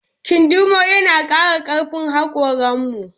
Kindirmo yana ƙara ƙarfin haƙoran mu